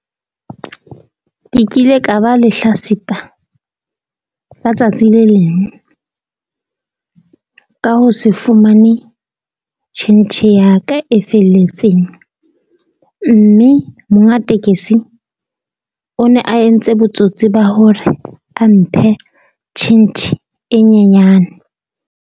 Ke kile ka ba lehlatsipa ka tsatsi le leng, ka ho se fumane tjhentjhe ya ka e felletseng. Mme monga tekesi o ne a entse botsotsi bo hore a mphe tjhentjhe e nyenyane.